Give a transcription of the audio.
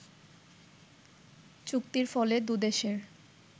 চুক্তির ফলে দুদেশের